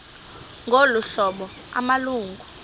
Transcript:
ngolu hlobo amalungu